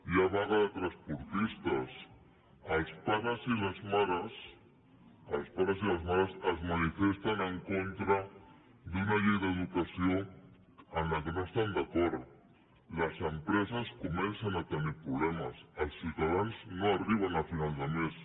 hi ha vaga de transportistes els pares i les mares es manifesten en contra d’una llei d’educació amb la qual no estan d’acord les empreses comencen a tenir problemes els ciutadans no arriben a final de mes